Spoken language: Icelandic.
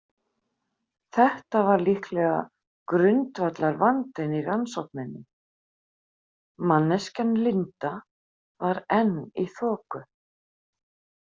Þetta var líklega grundvallarvandinn í rannsókninni: manneskjan Linda var enn í þoku.